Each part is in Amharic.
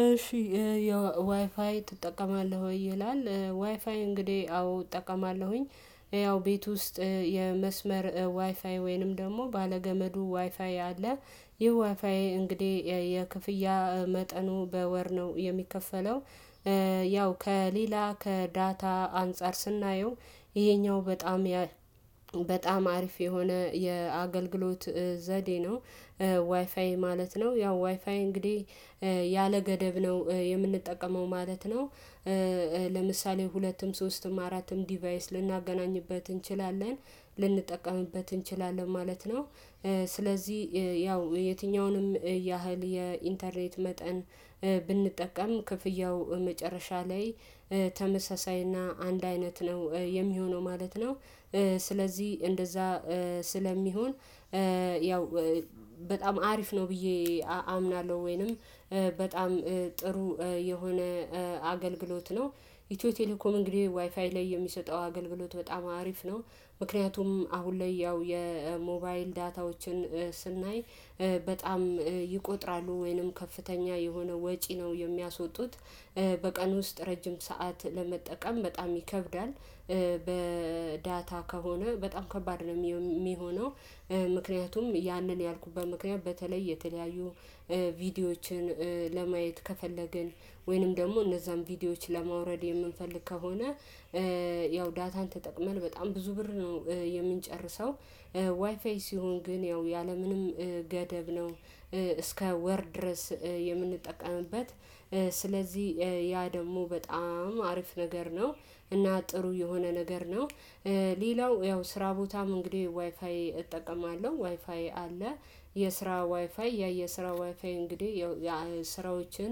እሺ ያው ዋይፋይ ትጠቀማለህ ወይ? ይላል ዋይፋይ እንግዲህ አዎ እጠቀማለሁኝ። ያው ቤት ውስጥ የመስመር ዋይፋይ ወይንም ደግሞ ባለገመዱ ዋይፋይ አለ። ይሄ ዋፋዬ እንግዲህ የክፍያ መጠኑ በወር ነው የሚከፈለው። ያው ከሌላ ከዳታ አንፃር ስናየው ይሄኛው በጣም በጣም አሪፍ የሆነ የአገልግሎት ዘዴ ነው። ዋይፋይ ማለት ነው። ያው ዋይፋይ እንግዲህ ገደብ ነው የምንጠቀመው ማለት ነው። ለምሳሌ ሁለትም ሶስትም አራትም ዲቫይስ ልናገናኝበት እንችላለን ልንጠቀምበት እንችላለን ማለት ነው። ስለዚህ ያው የትኛውንም ያህል የኢንተርኔት መጠን ብንጠቀም ክፍያው መጨረሻ ላይ ተመሳሳይና አንድ አይነት ነው የሚሆነው ማለት ነው። ስለዚህ እንደዛ ስለሚሆን ያው በጣም አሪፍ ነው ብዬ አምናለሁ። ወይንም በጣም ጥሩ የሆነ አገልግሎት ነው። ኢትዮ ቴሌኮም እንግዲህ ዋይፋይ ላይ የሚሰጠው አገልግሎት በጣም አሪፍ ነው። ምክንያቱም አሁን ላይ ያው የሞባይል ዳታዎችን ስናይ ይቆጥራሉ ወይንም ከፍተኛ የሆነ ወጪ ነው የሚያስወጡት። በቀን ውስጥ ረጅም ሰዓት ለመጠቀም በጣም ይከብዳል። በዳታ ከሆነ በጣም ከባድ ነው የሚሆነው። ምክንያቱም ያንን ያልኩበት ምክንያት በተለይ የተለያዩ ቪዲዮዎችን ለማየት ከፈለግን ወይንም ደግሞ እነዛን ቪዲዮዎች ለማውረድ የምንፈልግ ከሆነ። ያው ዳታን ተጠቅመን በጣም ብዙ ብር ነው የምንጨርሰው። ዋይፋይ ሲሆን ግን ያው ያለምንም ገደብ ነው እስከ ወር ድረስ የምንጠቀምበት። ስለዚህ ያ ደግሞ በጣም አሪፍ ነገር ነው እና ጥሩ የሆነ ነገር ነው። ሌላው ያው ስራ ቦታም እንግዲህ ዋይፋይ እጠቀማለሁ ዋይፋይ አለ። የስራ ዋይፋይ ያ የስራ ዋይፋይ እንግዲህ የስራዎችን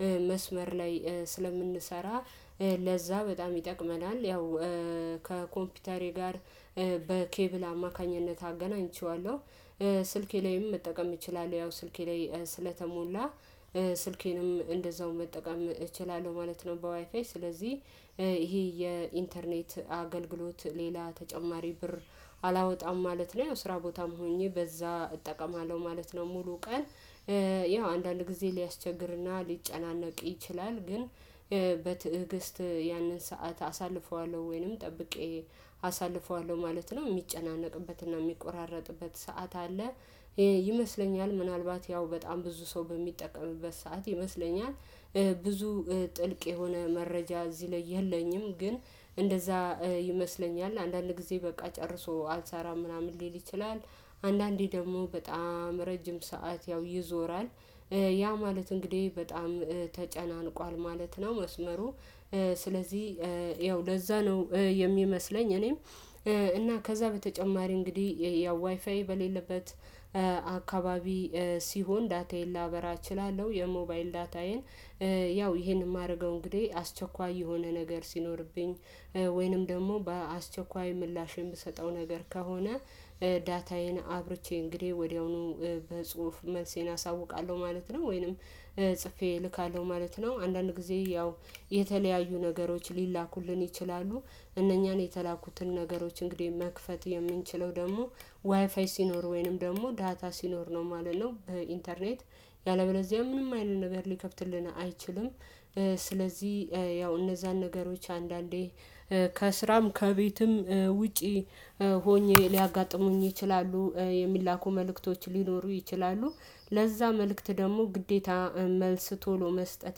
በመስመር ላይ ስለምንሰራ ለዛ በጣም ይጠቅመናል። ያው ከኮምፒውተሬ ጋር በኬብል አማካኝነት አገናኝቼዋለሁ። ስልኬ ላይም መጠቀም እችላለሁ ያው ስልኬ ላይ ስለተሞላ ስልኬንም እንደዛው መጠቀም እችላለሁ ማለት ነው። በዋይፋይ ስለዚህ ይሄ የኢንተርኔት አገልግሎት ሌላ ተጨማሪ ብር አላወጣም ማለት ነው። የውስራ ቦታም ሆኜ በዛ እጠቀማለሁ ማለት ነው። ሙሉ ቀን ያው አንዳንድ ጊዜ ሊያስቸግርና ሊጨናነቅ ይችላል ግን። በትዕግስት ያንን ሰዓት አሳልፈዋለሁ ወይንም ጠብቄ አሳልፈዋለሁ ማለት ነው። የሚጨናነቅበትና የሚቆራረጥበት ሰዓት አለ። ይሄ ይመስለኛል ምናልባት ያው በጣም ብዙ ሰው በሚጠቀምበት ሰዓት ይመስለኛል። ብዙ ጥልቅ የሆነ መረጃ እዚህ ላይ የለኝም ግን እንደዛ ይመስለኛል አንዳንድ ጊዜ በቃ ጨርሶ አልሳራ ምናምን ሊል ይችላል። አንዳንዴ ደግሞ በጣም ረጅም ሰዓት ያው ይዞራል። ያ ማለት እንግዲህ በጣም ተጨናንቋል ማለት ነው። መስመሩ ስለዚህ ያው ለዛ ነው የሚመስለኝ። እኔም እና ከዛ በተጨማሪ እንግዲህ ያው ዋይፋይ በሌለበት አካባቢ ሲሆን ዳታዬን ላበራ እችላለሁ። የሞባይል ዳታዬን ያው ይሄንን የማደርገው እንግዲህ አስቸኳይ የሆነ ነገር ሲኖርብኝ። ወይንም ደግሞ በአስቸኳይ ምላሽ የምሰጠው ነገር ከሆነ። ዳታዬን አብርቼ እንግዲህ ወዲያውኑ በጽሁፍ መልሴን አሳውቃለሁ ማለት ነው። ወይንም ጽፌ እልካለሁ ማለት ነው። አንዳንድ ጊዜ ያው የተለያዩ ነገሮች ሊላኩልን ይችላሉ። እነኛን የተላኩትን ነገሮች እንግዲህ መክፈት የምንችለው ደግሞ ዋይፋይ ሲኖር ወይንም ደግሞ ዳታ ሲኖር ነው ማለት ነው። በኢንተርኔት ያለበለዚያ ምንም አይልም ነገር ሊከፍትልን አይችልም። ስለዚህ ያው እነዛን ነገሮች አንዳንዴ ከስራም ከቤትም ውጪ ሆኜ ሊያጋጥሙኝ ይችላሉ። የሚላኩ መልእክቶች ሊኖሩ ይችላሉ። ለዛ መልእክት ደግሞ ግዴታ መልስ ቶሎ መስጠት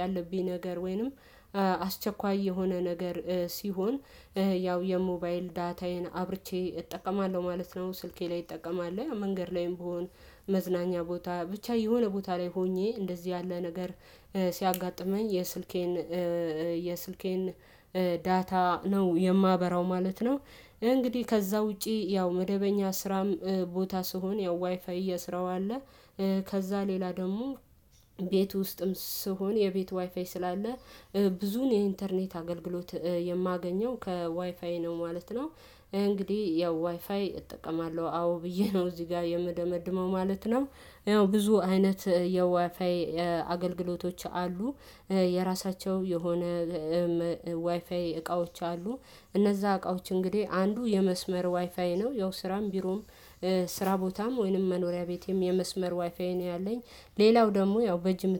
ያለብኝ ነገር ወይንም አስቸኳይ የሆነ ነገር ሲሆን ያው የሞባይል ዳታዬን አብርቼ እጠቀማለሁ። ማለት ነው። ስልኬ ላይ እጠቀማለሁ ያ መንገድ ላይም ብሆን መዝናኛ ቦታ ብቻ የሆነ ቦታ ላይ ሆኜ እንደዚህ ያለ ነገር ሲያጋጥመኝ የስልኬን የስልኬን ዳታ ነው የማበራው ማለት ነው። እንግዲህ ከዛ ውጪ ያው መደበኛ ስራም ቦታ ስሆን ያው ዋይፋይ የስራው አለ። ከዛ ሌላ ደግሞ ቤት ውስጥም ስሆን የቤቱ ዋይፋይ ስላለ ብዙን የኢንተርኔት አገልግሎት የማገኘው ከዋይፋይ ነው ማለት ነው። እንግዲህ ያው ዋይፋይ እጠቀማለሁ አዎ ብዬ ነው እዚህ ጋር የምደመድመው ማለት ነው። ያው ብዙ አይነት የዋይፋይ አገልግሎቶች አሉ። የራሳቸው የሆነ ዋይፋይ እቃዎች አሉ። እነዛ እቃዎች እንግዲህ አንዱ የመስመር ዋይፋይ ነው ያው ስራም ቢሮም ስራ ቦታም ወይንም መኖሪያ ቤቴም የመስመር ዋይፋዬ ነው ያለኝ ሌላው ደግሞ ያው በጅም